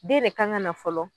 Den de kan ŋana fɔlɔ